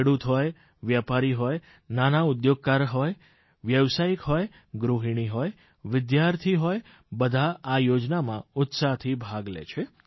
ખેડૂત હોય વેપારી હોય નાના ઉદ્યોગકાર હોય વ્યાવસાયિક હોય ગૃહિણી હોય વિદ્યાર્થી હોય બધા આ યોજનામાં ઉત્સાહથી ભાગ લે છે